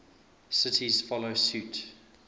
cities follow suit